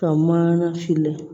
Ka mana fili